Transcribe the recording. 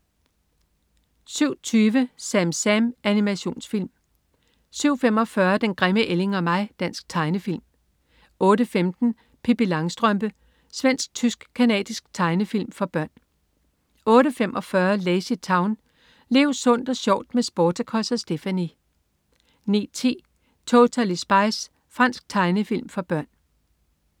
07.20 SamSam. Animationsfilm 07.45 Den grimme ælling og mig. Dansk tegnefilm 08.15 Pippi Langstrømpe. Svensk-tysk-canadisk tegnefilm for børn 08.45 LazyTown. Lev sundt og sjovt med Sportacus og Stephanie! 09.10 Totally Spies. Fransk tegnefilm for børn